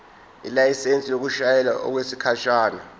ilayisensi yokushayela okwesikhashana